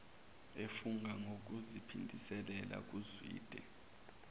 efunga ngokuziphindisela kuzwide